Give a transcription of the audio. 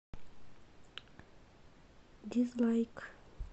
дизлайк